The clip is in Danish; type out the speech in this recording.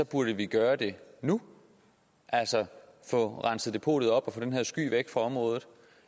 burde gøre det nu altså få renset depotet op og få den her sky væk fra området